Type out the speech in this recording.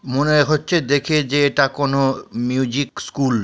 মনে এক হচ্ছে দেখে যে এটা কোনো মিউজিক স্কুল।